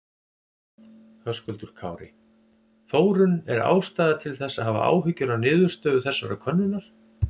Höskuldur Kári: Þórunn er ástæða til þess að hafa áhyggjur af niðurstöðu þessarar könnunar?